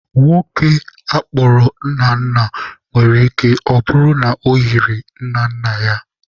Nwoke a kpọrọ Nnanna nwere ike ọ bụrụ na o yiri nna nna ya.